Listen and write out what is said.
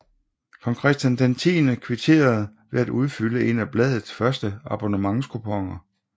Kong Christian X kvitterede ved at udfylde en af bladets første abonnementskuponer